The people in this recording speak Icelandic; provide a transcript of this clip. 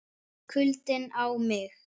KULDINN á mig.